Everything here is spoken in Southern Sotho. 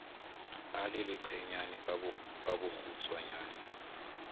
a le leqenyana ka bokgutshwanyane